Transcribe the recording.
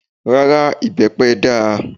Rárá, ìbẹ́pẹ dáa